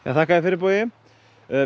þakka þér fyrir Bogi